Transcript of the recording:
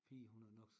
Pigen hun er nok